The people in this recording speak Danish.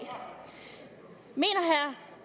herre